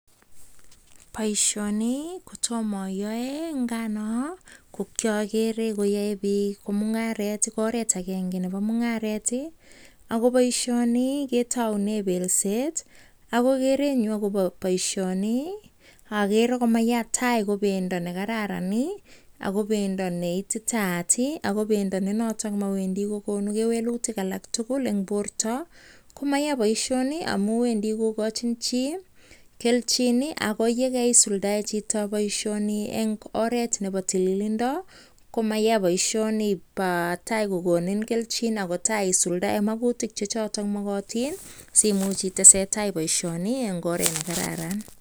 Poishoniii kotoma aiyaeee ngaaa Toma ayaee agere alee poishoni kokararan mayaaa poishkni in tos ikachii chiii kelchiin simuch iteseteai boishoni Eng oret nekararan